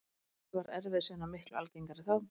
Auk þess var erfiðisvinna miklu algengari þá.